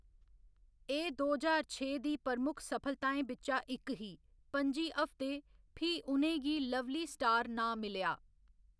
एह्‌‌ दो ज्हार छे दी प्रमुख सफलताएं बिच्चा इक ही, पं'जी हफ्ते, फ्ही उ'नें गी लवली स्टार नांऽ मिलेआ।